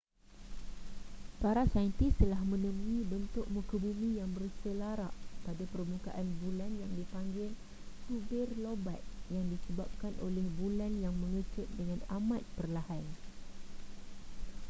para saintis telah menemui bentuk muka bumi yang berselarak pada permukaan bulan yang dipanggil tubir lobat yang disebabkan oleh bulan yang mengecut dengan amat perlahan